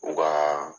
U ka